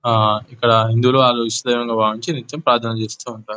హ ఇక్కడ హిందూ లు నిత్యం ప్రార్థన చేస్తూ ఉంటారు.